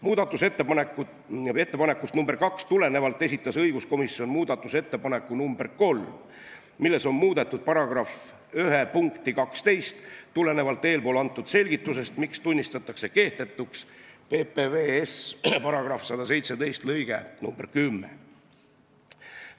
Muudatusettepanekust nr 2 tulenevalt esitas õiguskomisjon muudatusettepaneku nr 3, milles on muudetud § 1 punkti 12 tulenevalt eespool antud selgitusest, miks tunnistatakse kehtetuks PPVS § 117 lõige 10.